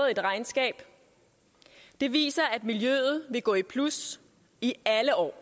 et regnskab og det viser at miljøet vil gå i plus alle år